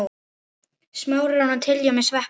Smárinn að tjilla með Sveppa?